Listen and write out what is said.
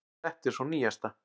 Þetta er sú nýjasta.